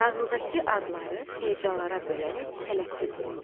Nağıldakı adları hecalara bölərək tələffüz et.